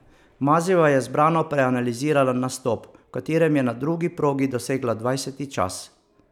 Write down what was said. Mazejeva je zbrano preanalizirala nastop, v katerem je na drugi progi dosegla dvajseti čas.